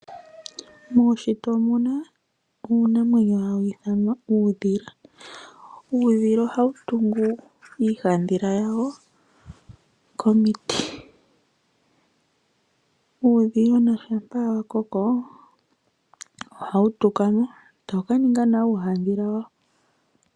Muushitwe omuna uunamwenyo hawu ithanwa uudhila. Uudhila ohawu tungu iihandhila yawo komiti. Uudhilona shampa wa koko hawu tukamo, tawu kaninga nawo uuhandhila wawo.